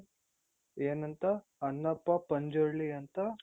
ಏನಂತ ಅಣ್ಣಪ್ಪ ಪಂಜುರ್ಲಿ ಅಂತ